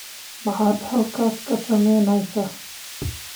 Maxaad halkaas ka samaynaysaa?